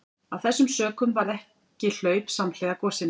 Af þessum sökum varð ekki hlaup samhliða gosinu.